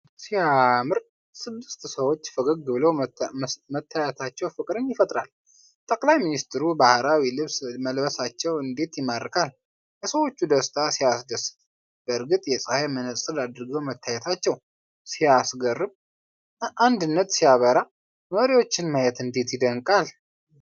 ሲያምር! ስድስት ሰዎች ፈገግ ብለው መታየታቸው ፍቅርን ይፈጥራል! ጠቅላይ ሚኒስትሩ ባህላዊ ልብስ መልበሳቸው እንዴት ይማርካል! የሰዎቹ ደስታ ሲያስደስት! በእርግጥ የፀሐይ መነፅር አድርገው መታየታቸው ሲያስገርም! አንድነት ሲያበራ! መሪዎችን ማየት እንዴት ይደነቃል!